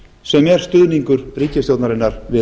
sem er stuðningur ríkisstjórnarinnar við